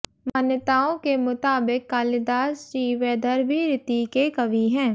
मान्यताओं के मुताबिक कालिदास जी वैदर्भी रीति के कवि हैं